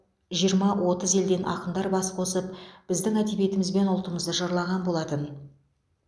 жиырма отыз елден ақындар бас қосып біздің әдебиетіміз бен ұлтымызды жырлаған болатын